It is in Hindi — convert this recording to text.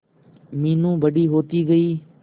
मीनू बड़ी होती गई